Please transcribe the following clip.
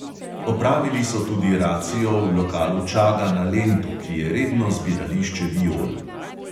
Opravili so tudi racijo v lokalu čaga na lentu, ki je redno zbirališče viol.